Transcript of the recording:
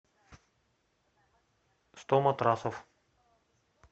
сто матрасов